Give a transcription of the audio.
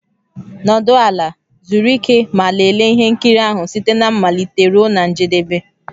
Nọdụ ala, zuru ike ma lelee ihe nkiri ahụ site na mmalite ruo na njedebe.